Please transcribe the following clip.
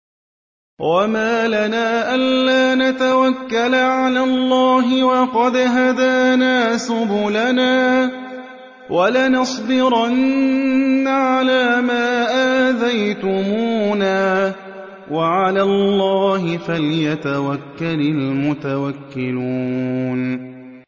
وَمَا لَنَا أَلَّا نَتَوَكَّلَ عَلَى اللَّهِ وَقَدْ هَدَانَا سُبُلَنَا ۚ وَلَنَصْبِرَنَّ عَلَىٰ مَا آذَيْتُمُونَا ۚ وَعَلَى اللَّهِ فَلْيَتَوَكَّلِ الْمُتَوَكِّلُونَ